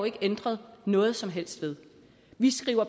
ikke ændret noget som helst ved vi skriver